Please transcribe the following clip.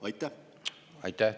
Aitäh!